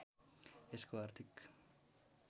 यसको आर्थिक